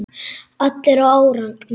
Allir á árarnar